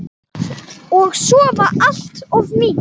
Og sofa allt of mikið.